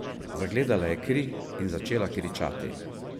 Zagledala je kri in začela kričati.